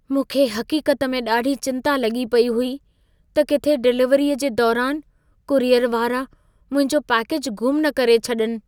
मूंखे हक़ीक़त में ॾाढी चिंता लॻी पई हुई, त किथे डिलीवरीअ जे दौरान कुरियर वारा मुंहिंजो पैकेजु ग़ुम न करे छड॒नि।